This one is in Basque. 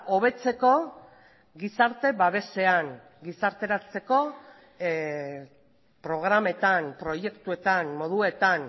hobetzeko gizarte babesean gizarteratzeko programetan proiektuetan moduetan